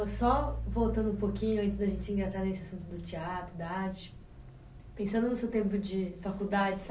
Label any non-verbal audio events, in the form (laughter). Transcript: Só voltando um pouquinho, antes da gente engatar nesse assunto do teatro, da arte, pensando no seu tempo de faculdade (unintelligible)